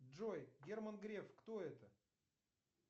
джой герман греф кто это